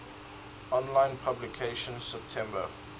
online publication september